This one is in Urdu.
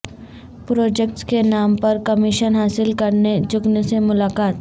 پراجکٹس کے نام پر کمیشن حاصل کرنے جگن سے ملاقات